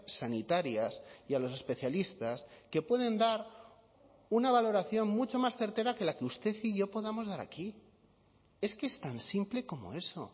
sanitarias y a los especialistas que pueden dar una valoración mucho más certera que la que usted y yo podamos dar aquí es que es tan simple como eso